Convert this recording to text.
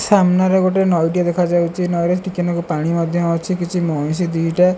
ସାମ୍ନାରେ ଗୋଟେ ନଈ ଟିଏ ଦେଖାଯାଉଚି ନଈ ରେ ଟିକେ ନାକୁରୁ ପାଣି ମଧ୍ୟ ଅଛି କିଛି ମଇଁଷି ଦିଇଟା --